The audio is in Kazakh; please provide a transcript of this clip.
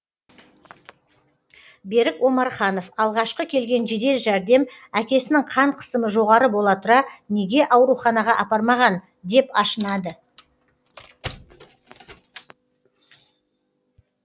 берік омарханов алғашқы келген жедел жәрдем әкесінің қан қысымы жоғары бола тұра неге ауруханаға апармаған деп ашынады